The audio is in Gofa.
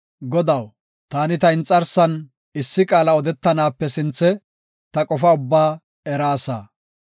Godaw, taani ta inxarsan issi qaala odetanaape sinthe, ta qofa ubbaa eraasa.